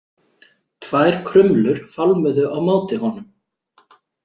Tvær krumlur fálmuðu á móti honum.